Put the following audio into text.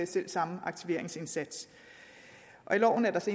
selv samme aktiveringsindsats i loven er der så